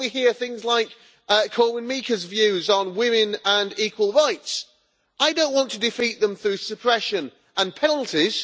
When we hear things like Korwin Mikke's views on women and equal rights, I do not want to defeat them through suppression and penalties.